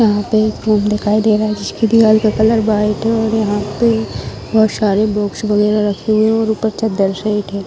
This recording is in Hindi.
वहाँ पे एक रूम दिखाई दे रहा है जिसकी दीवाल का कलर वाइट है और यहाँ पे बहुत सारे बुक्स वगेरा रखे हुए हैं और ऊपर चद्दर सेट है |